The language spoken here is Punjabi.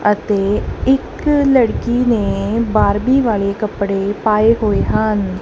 ਅਤੇ ਇੱਕ ਲੜਕੀ ਨੇ ਬਾਰਬੀ ਵਾਲੇ ਕੱਪੜੇ ਪਾਏ ਹੋਏ ਹਨ।